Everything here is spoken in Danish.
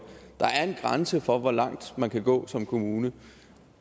der er en grænse for hvor langt man kan gå som kommune